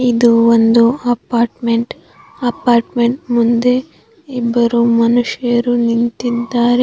ಇದು ಒಂದು apartment apartment ಮುಂದೆ ಇಬ್ಬರು ಮನುಷ್ಯರು ನಿಂತಿದ್ದಾರೆ.